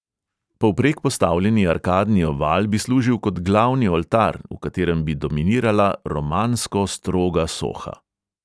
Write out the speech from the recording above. Povprek postavljeni arkadni oval bi služil kot glavni oltar, v katerem bi dominirala romansko stroga soha.